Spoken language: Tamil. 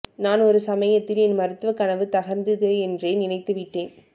நான் ஒரு சமயத்தில் என் மருத்துவக் கனவு தகர்ந்தது என்றே நினைத்துவிட்டேன்